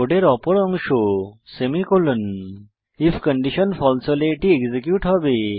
কোডের অপর অংশ সেমিকোলন আইএফ কন্ডিশন ফালসে হলে এটি এক্সিকিউট হবে